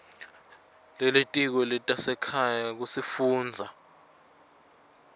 lelitiko letasekhaya kusifundza